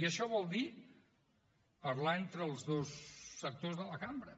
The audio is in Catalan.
i això vol dir parlar entre els dos sectors de la cambra